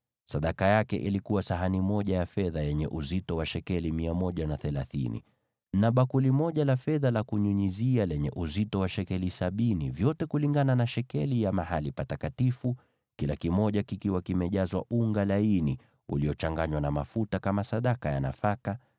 Sadaka aliyoleta ilikuwa sahani moja ya fedha yenye uzito wa shekeli 130, na bakuli moja la fedha la kunyunyizia lenye uzito wa shekeli sabini, vyote kulingana na shekeli ya mahali patakatifu, vikiwa vimejazwa unga laini uliochanganywa na mafuta kama sadaka ya nafaka;